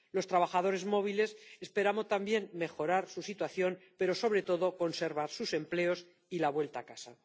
En cuanto a los trabajadores móviles, esperamos también mejorar su situación, pero sobre todo conservar sus empleos y la vuelta a casa.